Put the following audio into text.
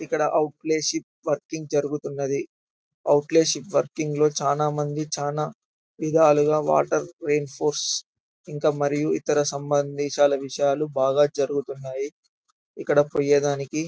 ఇక్కడ ఔట్లెషిప్ వర్కింగ్ జరుగుతున్నది. ఔట్లెషిప్ వర్కింగ్ లో చానా మందీ చానా విధాలుగా వాటర్ ఐరిఫోర్స్ ఇంకా మరియు ఇతర సంబందించి విషాలు చాల బాగా జరుగుతాయి ఇక్కడ --